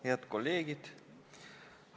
Head kolleegid!